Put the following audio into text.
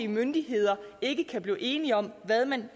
myndigheder ikke kan blive enige om hvad man